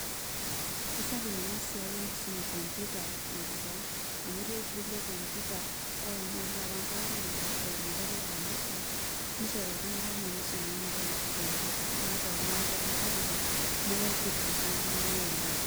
Aisapuk enasiai enkisuma e computer tenkop ang, amu etii olturrur le computer oimaa oshi taata nkaulele, eimu enkoitoi e kanisa, nishori iltung'anak kumok misumia enatoki naji computer. Nias oltung'ani eleven packages, neeku kegira aisaidia elelero oleng.